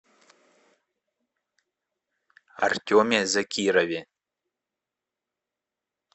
артеме закирове